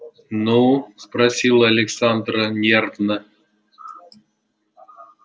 ну спросила александра нервно